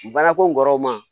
Baarako kɔrɔ ma